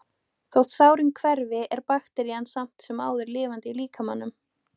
Þótt sárin hverfi er bakterían samt sem áður lifandi í líkamanum.